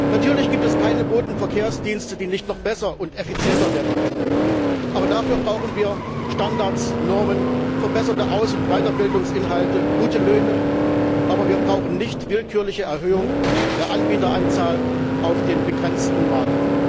Natürlich gibt es keine Bodenverkehrsdienste, die nicht noch besser und effizienter werden könnten, aber dafür brauchen wir Standards, Normen, verbesserte Aus und Weiterbildungsinhalte, gute Löhne, aber wir brauchen nicht die willkürliche Erhöhung der Anbieteranzahl auf dem begrenzten Markt.